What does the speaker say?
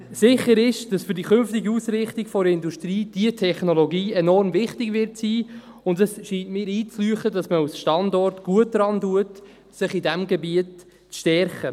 Sicher ist, dass für die künftige Ausrichtung der Industrie diese Technologie enorm wichtig sein wird, und es scheint mir einleuchtend, dass man als Standort gut daran tut, sich in diesem Gebiet zu stärken.